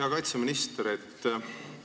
Hea kaitseminister!